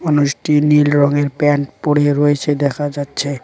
মানুষটি নীল রঙের প্যান্ট পরে রয়েছে দেখা যাচ্ছে।